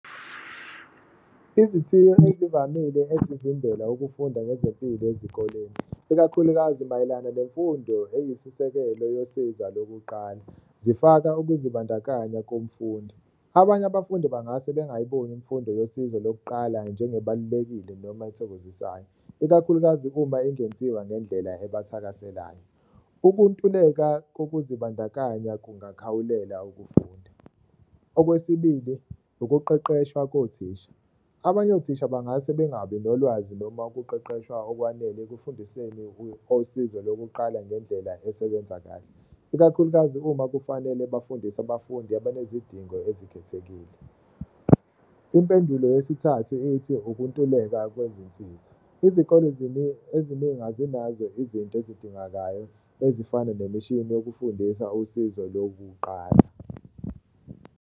Uzithiyo ezivamile ezivimbela ukufunda ngezempilo ezikoleni ikakhulukazi mayelana nemfundo eyisisekelo yosiza lokuqala zifaka ukuzibandakanya komfundi. Abanye abafundi bangase bengayiboni umfundo yosizo lokuqala njengebalulekile noma ethokozisayo, ikakhulukazi uma ingenziwa ngendlela ebathakaselayo, ukuntuleka kokuzibandakanya kungakhawulela ukufunda. Okwesibili, ukuqeqeshwa kothisa, abanye othisha bangase bengabi nolwazi noma ukuqeqeshwa okwanele ekufundiseni osizo lokuqala ngendlela esebenza kahle, ikakhulukazi uma kufanele bafundise abafundi abanezidingo ezikhethekile. Impendulo yesithathu ithi ukuntuleka kwezinsiza, izikole eziningi azinazo izinto ezidingakayo ezifana nemishini yokufundisa usizo lokuqala.